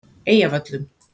Eyjavöllum